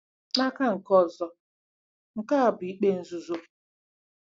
N'aka nke ọzọ, nke a bụ ikpe nzuzo.